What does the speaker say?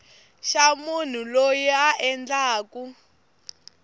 xa munhu loyi a endlaku